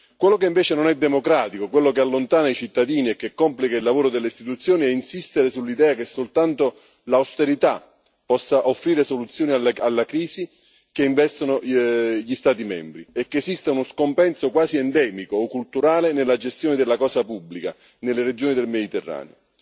Quello che invece non è democratico, quello che allontana i cittadini e che complica il lavoro delle istituzioni è insistere sull'idea che soltanto l'austerità possa offrire soluzioni alla crisi che investe gli Stati membri, e che esista uno scompenso quasi endemico o culturale nella gestione della cosa pubblica nelle regioni del Mediterraneo.